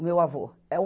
O meu avô. E o